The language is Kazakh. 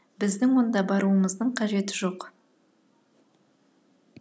біздің онда баруымыздың қажеті жоқ